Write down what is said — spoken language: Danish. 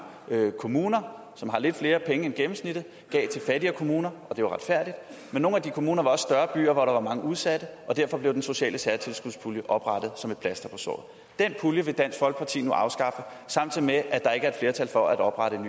kommuner som har lidt flere penge end gennemsnittet gav til fattigere kommuner og det retfærdigt men nogle af de kommuner var også større byer hvor der var mange udsatte og derfor blev den sociale særtilskudspulje oprettet som et plaster på såret den pulje vil dansk folkeparti nu afskaffe samtidig med at der ikke er et flertal for at oprette en